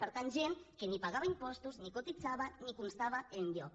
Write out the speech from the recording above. per tant gent que ni pagava impostos ni cotitzava ni constava enlloc